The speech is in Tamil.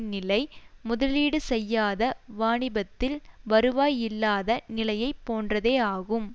நிலை முதலீடு செய்யாத வாணிபத்தில் வருவாய் இல்லாத நிலையை போன்றதேயாகும்